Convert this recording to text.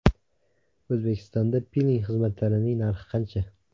O‘zbekistonda piling xizmatlarining narxi qancha?